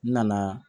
N nana